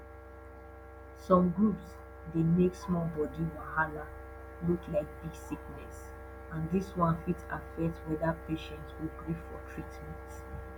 some groups dey make small body wahala look like big sickness and this one fit affect whether patient go gree for treatment